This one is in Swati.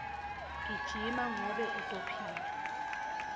gijima ngobe utophila